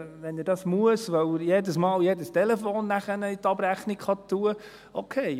Wenn er das muss, weil er dann jedes Mal jedes Telefonat in die Abrechnung schreiben kann, okay.